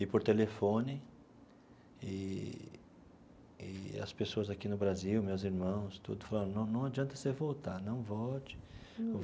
E, por telefone eee e, as pessoas aqui no Brasil, meus irmãos tudo, falando, não não adianta você voltar, não volte.